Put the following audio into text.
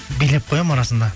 билеп қоямын арасында